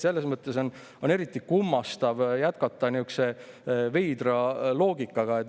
Selles mõttes on eriti kummastav jätkata nihukese veidra loogikaga.